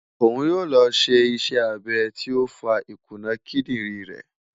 Oun yoo lọ si iṣẹ abẹ ti o fa ikuna kidirin rẹ